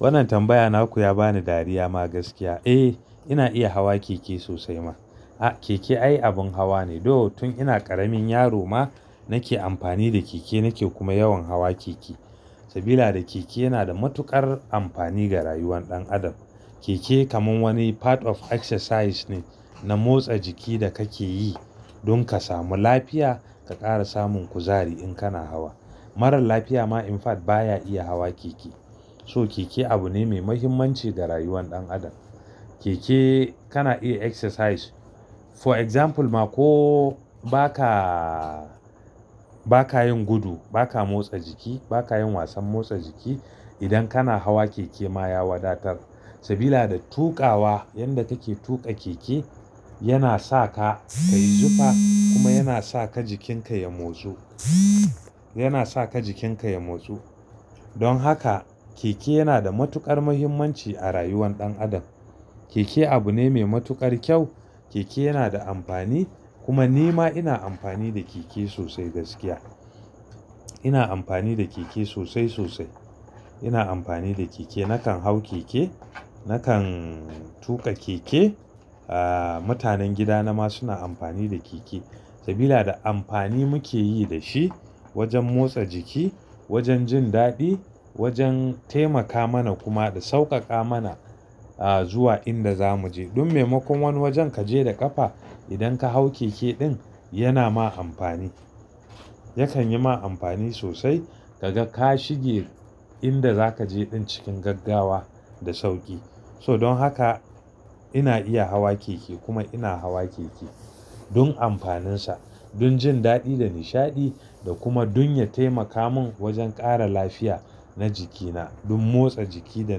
Wannan tambaya naku ya bani dariya ma gaskiya. Eh, ina iya hawa keke sosai ma. A, keke ai abun hawa ne. Though, tun ina ƙaramin yaro ma nake amfani da keke nake kuma yawan hawa keke. Sabida keke yana da matuƙar amfani ga rayuwar ɗan adam. Keke kamar wani part of exercise ne na motsa jiki da kake yi don ka samu lafiya ka ƙara samun kuzari in kana hawa. Marar lafiya ma in fact baya iya hawa keke. So keke abu ne mai muhimmanci ga rayuwar ɗan adam. Keke kana iya exercise. For example ma ko ba ka, ba ka yin gudu, ba ka motsa jiki, ba ka yin wasan motsa jiki. Idan kana hawa keke ma ya wadatar sabida tuƙawa, yanda kake tuƙa keke yana sa ka kayi zufa kuma yana sa ka jikinka ya motsu, yana sa ka jikinka ya motsu. Don haka keke yana da matuƙar muhimmanci a rayuwan ɗan adam. Keke abu ne mai matuƙar kyau. Keke yana da amfani kuma ni ma ina amfani da keke sosai gaskiya. Ina amfani da keke sosai sosai. Ina amfani da keke, nakan hau keke, nakan tuƙa keke. Mutanen gida na ma suna amfani da keke sabida amfani muke yi da shi wajen motsa jiki, wajen jin daɗi, wajen taimaka mana kuma da sauƙaƙa mana, ah, zuwa inda zamu je. Dun maimakon wani wajen kaje da ƙafa idan ka hau keke ɗin yana ma amfani. Yakan yi ma amfani sosai. Kaga ka shige inda zaka je ɗin cikin gaggawa da sauƙi. So don haka ina iya hawa keke kuma ina hawa keke don amfaninsa, don jin daɗi da nishaɗi da kuma don ya taimaka min wajen ƙara lafiya na jikina. Don motsa jiki da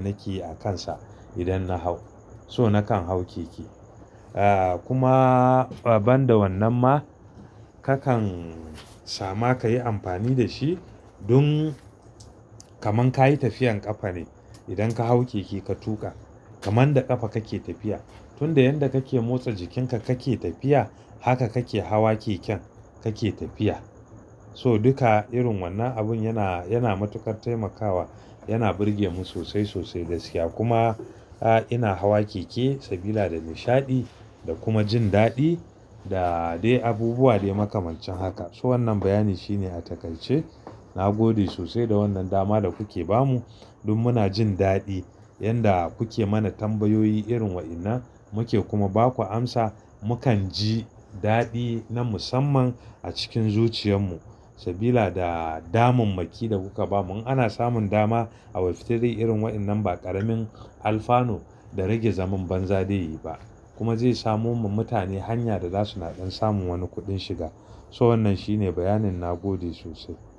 nake yi a kansa idan na hau. So nakan hau keke. Kuma ban da wannan ma kakan sama kayi amfani da shi dun kamar kayi tafiyan ƙafa ne. Idan ka hau keke ka tuƙa, kamar da ƙafa kake tafiya. Tunda yanda kake motsa jikinka kake tafiya, haka kake hawa keken kake tafiya. So duka irin wannan abun yana, yana matuƙar taimakawa. Yana burge mu sosai sosai gaskiya kuma ina hawa keke sabida nishaɗi da kuma jin daɗi da dai abubuwa dai makamancin haka. So wannan bayani shine a takaice. Na gode sosai da wannan dama da kuke ba mu. Dun muna jin daɗi yanda kuke mana tambayoyi irin waɗannan. Muke kuma ba ku amsa, mukan ji daɗi na musamman a cikin zuciyan mu sabida damammaki da kuka bamu. Ana samun dama a Web3 irin waɗannan ba ƙaramin alfanu da rage zaman banza dai ba kuma zai samo wa mutane hanya da za suna samun wani kuɗin shiga. So wannan shi ne bayanin na gode sosai.